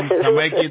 తప్పకుండా